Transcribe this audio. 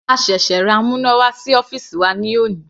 A ṣẹ̀ṣẹ̀ ra amúnáwá sí ọ́fìsì wa ní òní.